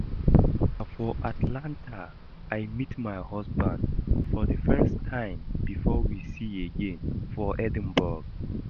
Na for Atlanta I meet my husband for the first time before we see again for Edinburgh